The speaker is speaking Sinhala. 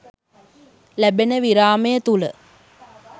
ලැබෙන විරාමය තුළ